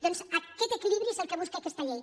doncs aquest equilibri és el que busca aquesta llei